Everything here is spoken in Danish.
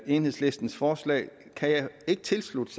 enhedslistens forslag kan jeg ikke tilslutte